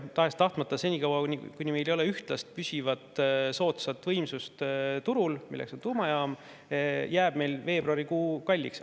Tahes-tahtmata senikaua, kuni meil ei ole turul ühtlast püsivat soodsat võimsust, milleks on tuumajaam, jääb meil veebruarikuu kalliks.